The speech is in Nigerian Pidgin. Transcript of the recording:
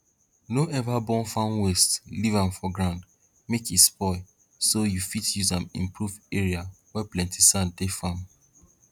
no ever burn farm waste leave um for ground make e spoil so you fit use um improve area wey plenty sand dey farm